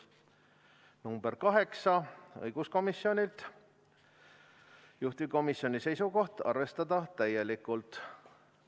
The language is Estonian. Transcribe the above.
Ettepanek nr 8, õiguskomisjonilt, juhtivkomisjoni seisukoht: arvestada täielikult.